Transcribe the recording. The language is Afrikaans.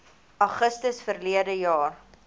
augustus verlede jaar